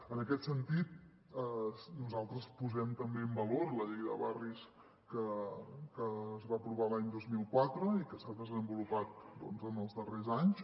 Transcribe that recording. en aquest sentit nosaltres posem també en valor la llei de barris que es va apro·var l’any dos mil quatre i que s’ha desenvolupat en els darrers anys